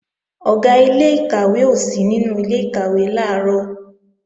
Ọ̀gá ilé-ìkàwé ò sí nínú ilé-ìkàwé làárọ̀